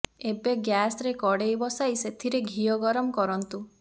ଏବେ ଗ୍ୟାସରେ କଡ଼େଇ ବସାଇ ସେଥିରେ ଘିଅ ଗରମ କରନ୍ତୁ